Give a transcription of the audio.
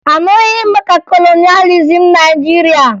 Aṅụghị m maka kolonịalizim Naịjirịa